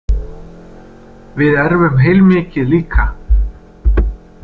Við erfum heilmikið líka.